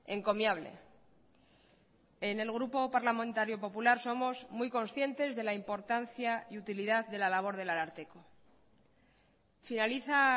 encomiable en el grupo parlamentario popular somos muy conscientes de la importancia y utilidad de la labor del ararteko finaliza